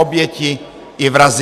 Oběti i vrazi.